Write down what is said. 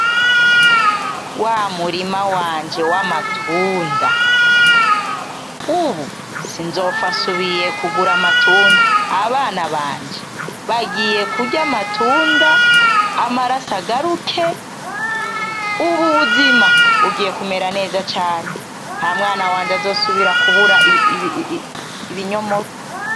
Wa murima wanje w'amatunda! ubu sinzopfa nsubiye kugura amatunda. Abana banje bagiye kurya amatunda, amaraso agaruke. Ubu ubuzima bugiye kumera neza cane. Nta mwana wanje azosubira kubura ibinyomoro.